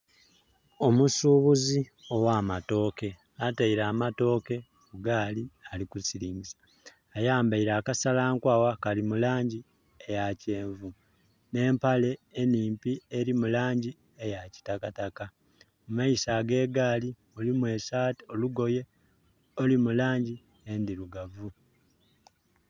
Omusuubuzi ogh'amatooke ataile amatooke ku gaali, ali kusiringisa, ayambaile akasa nkwagha kali mu langi ya kyenvu nh'mpale enimpi eri mu langi eya kitakataka. Mu maiso ge gaali mulimu olugoye oluli mu langi endhirugavu.